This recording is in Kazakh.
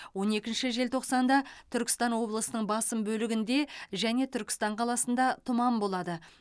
он екінші желтоқсанда түркістан облысының басым бөлігінде және түркістан қаласында тұман болады